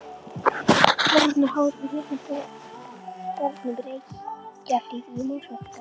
Boranir hófust með Litla bornum í Reykjahlíð í Mosfellsdal.